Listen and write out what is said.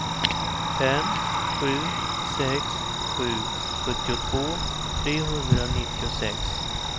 fem sju sex sju sjuttiotvå trehundranittiosex